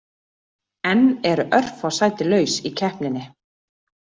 Enn eru örfá sæti laus í keppninni.